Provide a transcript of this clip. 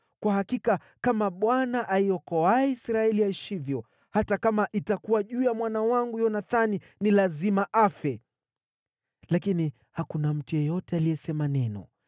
Kwa hakika kama Bwana aiokoaye Israeli aishivyo, hata kama itakuwa juu ya mwana wangu Yonathani, ni lazima afe.” Lakini hakuna mtu yeyote aliyesema neno.